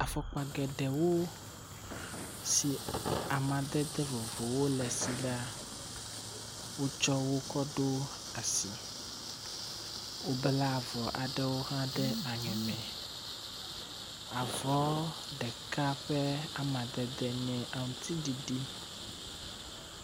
Afɔkpa geɖewo si amadede vovovowo le si le wotsɔwo kɔ ɖo asi. Wobla avɔ aɖewo hã ɖe aŋe me. Avɔ ɖeka ƒe amadede nye aŋutiɖiɖi.